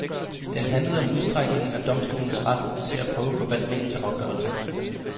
Den handlede om udstrækningen af domstolenes ret til at prøve forvaltningens afgørelser.